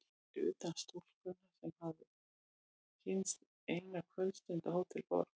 Fyrir utan stúlkuna sem hann hafði kynnst eina kvöldstund á Hótel Borg.